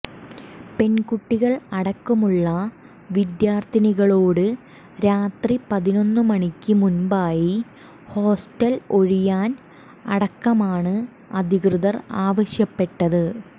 പെൺകുട്ടികൾ അടക്കമുള്ള വിദ്യാർത്ഥികളോട് രാത്രി പതിനെന്ന് മണിയ്ക്ക് മുമ്പായി ഹോസ്റ്റൽ ഒഴിയാൻ അടക്കമാണ് അധികൃതർ ആവശ്യപ്പെട്ടത്